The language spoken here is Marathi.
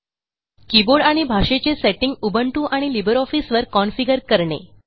कीबोर्ड आणि भाषेचे सेटिंग उबुंटू आणि लिब्रिऑफिस वर configureकरणे